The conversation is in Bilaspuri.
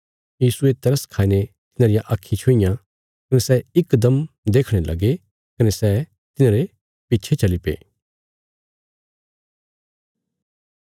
यीशुये तरस खाईने तिन्हांरियां आक्खीं छुईयां कने सै इकदम देखणे लगे कने सै तिन्हांरे पिच्छे चलीपे